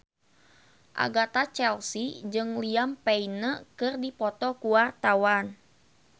Agatha Chelsea jeung Liam Payne keur dipoto ku wartawan